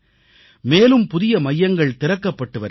மேலும் புதிய மையங்கள் திறக்கப்பட்டு வருகின்றன